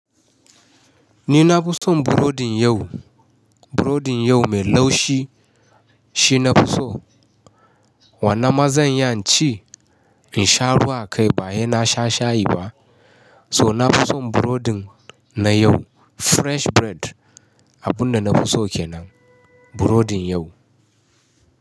Ni na fi son burodin yau, burodin yau mai laushi shi na fi so. Wannan ma zan yi, naci in sha ruwa kai bayan na sha shayi ba. So na fi son burodin na yau fresh bread. Abun da na fi so kenan burodin yau.